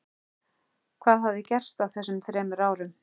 Hvað hafði gerst á þessum þremur árum?